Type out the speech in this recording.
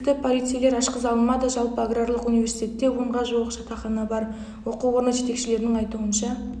есікті полицейлер ашқыза алмады жалпы аграрлық университетте онға жуық жатақхана бар оқу орны жетекшілерінің айтуынша